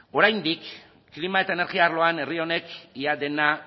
oraindik klima eta energia arloan herri honek ia dena